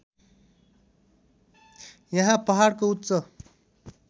यहाँ पहाडको उच्च